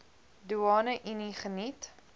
doeane unie geniet